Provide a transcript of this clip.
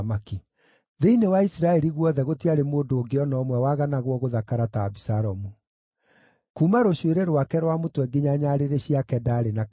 Thĩinĩ wa Isiraeli guothe gũtiarĩ mũndũ ũngĩ o na ũmwe waganagwo gũthakara ta Abisalomu. Kuuma rũcuĩrĩ rwake rwa mũtwe nginya nyarĩrĩ ciake ndaarĩ na kameni.